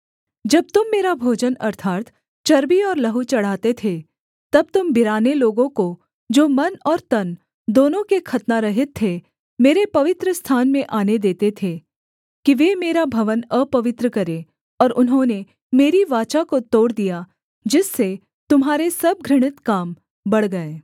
जब तुम मेरा भोजन अर्थात् चर्बी और लहू चढ़ाते थे तब तुम बिराने लोगों को जो मन और तन दोनों के खतनारहित थे मेरे पवित्रस्थान में आने देते थे कि वे मेरा भवन अपवित्र करें और उन्होंने मेरी वाचा को तोड़ दिया जिससे तुम्हारे सब घृणित काम बढ़ गए